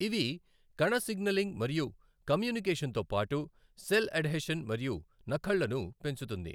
ఇవి కణ సిగ్నలింగ్ మరియు కమ్యూనికేషన్ తో పాటు సెల్ అడ్హెషన్ మరియు నఖళ్లను పెంచుతుంది.